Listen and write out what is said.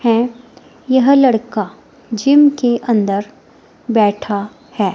हैं यह लड़का जिम के अंदर बैठा है।